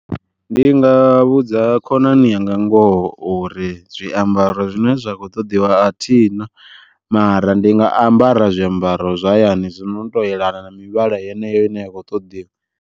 Ndi nga vhudza khonani yanga ngoho uri zwiambaro zwine zwa kho ṱoḓiwa athina, mara ndi nga ambara zwiambaro zwa hayani zwino to yelana na mivhala yeneyo ine ya kho ṱoḓiwa.